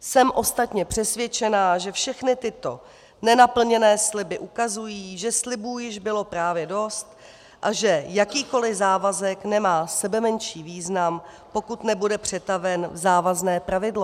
Jsem ostatně přesvědčena, že všechny tyto nenaplněné sliby ukazují, že slibů již bylo právě dost a že jakýkoli závazek nemá sebemenší význam, pokud nebude přetaven v závazné pravidlo.